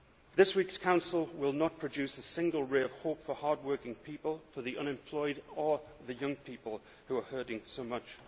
This week's Council will not produce a single ray of hope for hardworking people, for the unemployed or the young people who are hurting so much.